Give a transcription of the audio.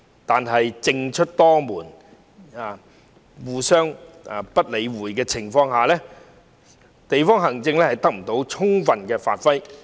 但是，在政出多門，互不理會的情況下，地區行政得不到充分發揮。